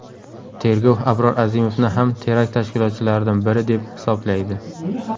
Tergov Abror Azimovni ham terakt tashkilotchilaridan biri deb hisoblaydi.